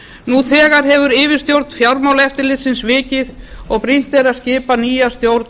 nú þegar hefur yfirstjórn fjármálaeftirlitsins vikið og brýnt er að skipa nýja stjórn